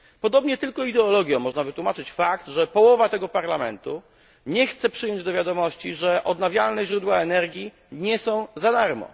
Podobnie tylko ideologią można wytłumaczyć fakt, że połowa tego Parlamentu nie chce przyjąć do wiadomości, że odnawialne źródła energii nie są za darmo.